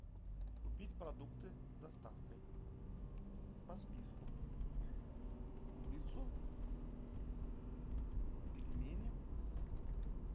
купить продукты с доставкой по списку курицу пельмени